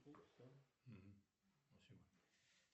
фибрин это часть чего